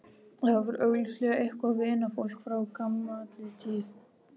Þetta var augljóslega eitthvert vinafólk frá gamalli tíð.